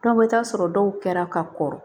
Dɔw bɛ taa sɔrɔ dɔw kɛra ka kɔrɔ